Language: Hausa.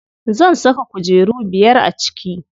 Zan saka kujeru biyar a ciki.